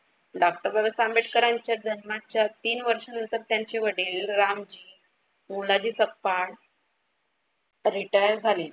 Doctor Babasaheb आंबेडकरांच्या जन्माच्या तीन वर्षानंतर त्यांचे वडील रामजी मोलाजी सपकाळ रिटायर झाले.